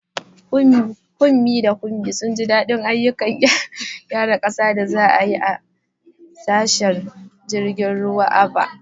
Funmi da Kunmi sun ji daɗin ayyukan raya ƙasa da za a yi a tashar jirgin ruwan Aba.